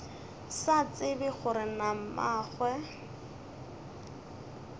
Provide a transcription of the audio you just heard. sa tsebe gore na mmagwe